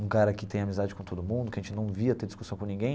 Um cara que tem amizade com todo mundo, que a gente não via ter discussão com ninguém.